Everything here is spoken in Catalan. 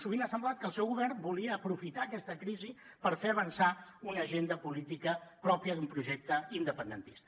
sovint ha semblat que el seu govern volia aprofitar aquesta crisi per fer avançar una agenda política pròpia d’un projecte independentista